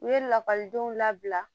U ye lakɔlidenw labila